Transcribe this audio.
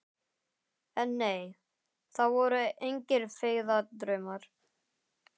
En nei, það voru engir feigðardraumar.